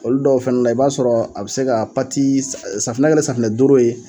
Olu dɔw fɛnɛ la i b'a sɔrɔ a bɛ se ka pati, safinɛ kɛlen safinɛ doro ye.